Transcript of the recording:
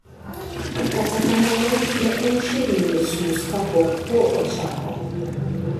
Kata kamano, ne en chiegni nus nus kapok kuo ochako.